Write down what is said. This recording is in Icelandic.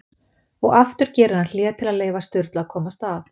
Og aftur gerir hann hlé til að leyfa Sturlu að komast að.